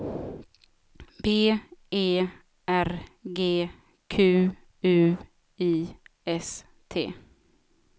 B E R G Q U I S T